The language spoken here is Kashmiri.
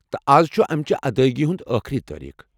تہٕ از چُھ امِچہِ ادٲیگی ہُند ٲخری تٲریٖخ۔